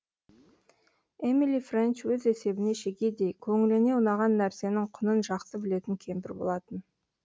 эмили фрэнч өз есебіне шегедей көңіліне ұнаған нәрсенің құнын жақсы білетін кемпір болатын